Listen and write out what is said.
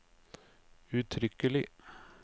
uttrykkelig